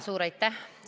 Suur aitäh!